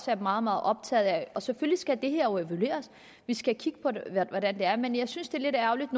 være meget meget optaget af og selvfølgelig skal det her evalueres vi skal kigge på hvordan det er men jeg synes det er lidt ærgerligt